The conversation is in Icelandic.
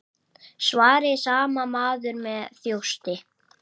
svaraði sami maður með þjósti.